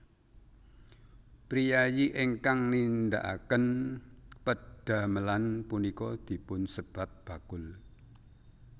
Priyayi ingkang nindhakaken pedhamelan punika dipun sebat bakul